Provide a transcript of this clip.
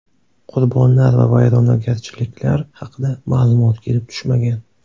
Qurbonlar va vayronagarchiliklar haqida ma’lumot kelib tushmagan.